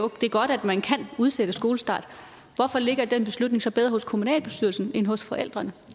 det er godt at man kan udsætte skolestart hvorfor ligger den beslutning så bedre hos kommunalbestyrelsen end hos forældrene